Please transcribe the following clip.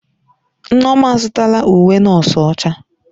Nneoma azụtala uwe nọọsụ ọcha.